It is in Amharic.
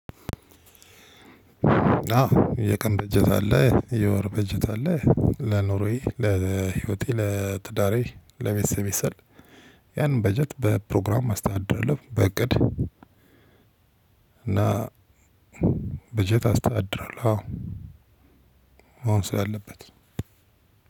አዎ የቀን በጀት አለ የወር በጀት አለ ለኑሮየ ለህይወቴ ለትዳሬ ለቤተሰብ ስል ያንን በጀት በፕሮግራም አስተዳድራለው በእቅድ እና በጀት አስታድራለሁ። አዎ አሁን ሰው አለበት